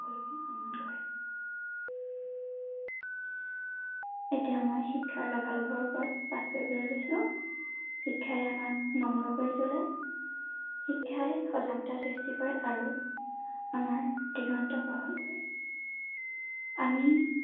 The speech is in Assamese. এতিয়া মই শিক্ষাৰ লাভালাভৰ ওপৰত পাঠ কৰিবলৈ লৈছো ৷ শিক্ষাই আমাক নম্ৰ কৰি তুলে শিক্ষাই সজাগতা সৃষ্টি কৰে আৰু আমাৰ দিগন্ত বহল কৰে ৷ আমি